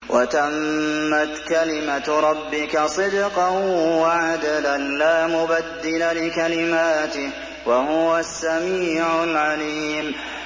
وَتَمَّتْ كَلِمَتُ رَبِّكَ صِدْقًا وَعَدْلًا ۚ لَّا مُبَدِّلَ لِكَلِمَاتِهِ ۚ وَهُوَ السَّمِيعُ الْعَلِيمُ